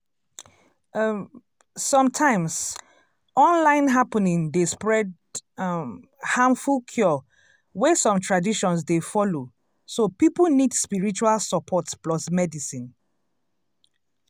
um sometimes online happening dey spread um harmful cure wey some traditions dey follow so people nid spiritual support plus medicine. um